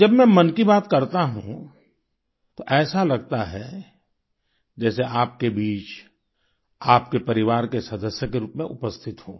जब मैं मन की बात करता हूँ तो ऐसा लगता है जैसे आपके बीच आपके परिवार के सदस्य के रूप में उपस्थित हूँ